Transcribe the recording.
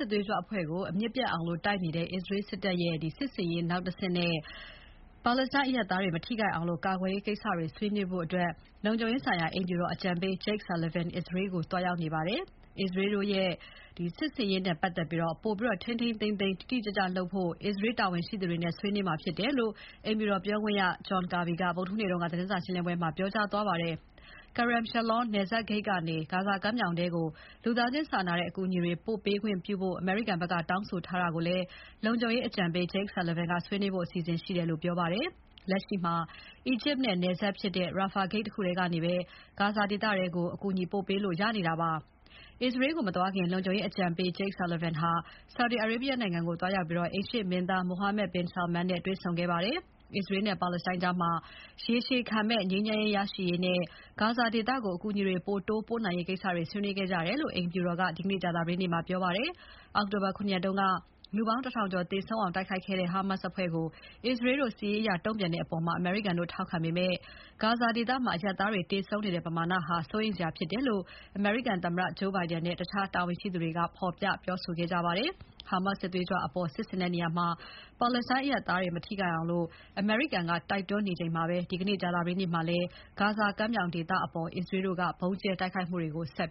်သွေးကြွအဖွဲ့ကို အမြစ်ပြတ်အောင်တိုက်နေတဲ့ အစ္စရေးတို့ရဲ့ စစ်ဆင်ရေးနောက်အဆင့်နဲ့ ပါလက်စတိုင်းအရပ်သားတွေ မထိခိုက်အောင်ကာကွယ်ရေးကိစ္စတွေ ဆွေးနွေးဖို့ လုံခြုံရေးဆိုင်ရာ အိမ်ဖြူတော်အကြံပေး Jake Sullivan အစ္စရေးကို သွားရောက်နေပါတယ်။ အစ္စရေးတို့ရဲ့ စစ်ဆင်ရေးနဲ့ပါတ်သက်လို့ ပိုပြီးထိန်းထိန်းသိမ်းသိမ်း၊ တိတိကျကျလုပ်ဖို့ အစ္စရေးတာဝန်ရှိသူတွေနဲ့ ဆွေးနွေးမှာဖြစ်တယ်လို့ အိမ်ဖြူတော်ပြောခွင့်ရ John Kirby က ဗုဒ္ဓဟူးနေ့က သတင်းစာရှင်းပွဲမှာ ပြောကြားသွားပါတယ်။ Kerem Shalom နယ်စပ်ဂိတ်ကနေ ဂါဇာကမ်းမြောင်ထဲကို လူသားချင်းစာနာတဲ့အကူအညီတွေ ပို့ပေးခွင့်ပြုဖို့ အမေရိကန်ဘက်ကတောင်းဆိုတာကိုလည်း လုံခြုံရေးအကြံပေး Jake Sullivan ကဆွေးနွေးဖို့ အစီအစဉ်ရှိတယ်လို့ ပြောပါတယ်။ လက်ရှိမှာ အီဂျစ်နဲ့ နယ်စပ်ဖြစ်တဲ့ Rafah ဂိတ်တခုထဲကနေပဲ ဂါဇာထဲကို အကူအညီပို့ပေးလို့ ရနေတာပါ။ အစ္စရေးကို မသွားခင် လုံခြုံရေးအကြံပေး Jake Sullivan ဟာ ဆော်ဒီအာရေဗီးယားနိုင်ငံကို သွားရောက်ပြီး အိမ်ရှေ့မင်းသား Mohammed bin Salman နဲ့တွေ့ဆုံခဲ့ပါတယ်။ အစ္စရေးနဲ့ ပါလက်စတိုင်းကြား ရေရှည်ခံမယ့် ငြိမ်းချမ်းရေးရရှိရေးနဲ့ ဂါဇာဒေသကို အကူအညီတွေ ပိုတိုးပို့နိုင်ရေးကိစ္စတွေ ဆွေးနွေးခဲ့ကြတယ်လို့ အိမ်ဖြူတော်က ဒီနေ့ ကြာသပတေးနေ့မှာ ပြောပါတယ်။ အောက်တိုဘာ ၇ ရက်က လူပေါင်း ၁၀၀၀ ကျော်သေဆုံးအောင်တိုက်ခိုက်ခဲ့တဲ့ ဟာမတ်စ်အဖွဲ့ကို အစ္စရေးတို့ စစ်ရေးအရ တုံ့ပြန်တဲ့အပေါ် အမေရိကန်တို့ထောက်ခံပေမယ့် ဂါဇာဒေသမှာ အရပ်သားတွေ သေဆုံးနေတဲ့ ပမာဏဟာ စိုးရိမ်စရာဖြစ်တယ်လို့ အမေရိကန်သမ္မတဂျိုးဘိုင်ဒန်နဲ့ တခြားတာဝန်ရှိသူတွေက ဖော်ပြပြောဆိုခဲ့ကြပါတယ်။ ဟာမတ်စ်စစ်သွေးကြွတွေအပေါ် စစ်ဆင်တဲ့နေရာမှာ ပါလက်စတိုင်းအရပ်သားတွေ မထိခိုက်အောင် အမေရိကန်က တိုက်တွန်းနေချိန်မှာပဲ၊ ဒီနေ့ ကြာသပတေးနေ့မှာလည်း ဂါဇာကမ်းမြောင်ဒေသအပေါ် အစ္စရေးတို့ ဗုံးကြဲတိုက်ခိုက်မှုတွေ ဆက်